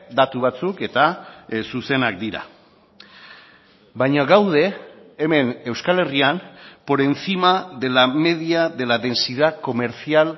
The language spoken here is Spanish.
datu batzuk eta zuzenak dira baina gaude hemen euskal herrian por encima de la media de la densidad comercial